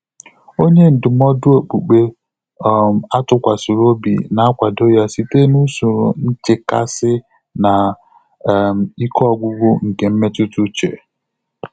Ọ́nyé ndụ́mọ́dụ́ ókpùkpé um á tụ́kwàsị̀rị̀ óbí nà-ákwàdò yá sìté n’ùsòrò nchékàsị́ nà um íké ọ́gwụ́gwụ́ nké mmétụ́tà úchè.